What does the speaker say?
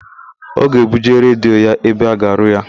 Ọ ga-ebuje redio ya ebe a ga-arụ ya.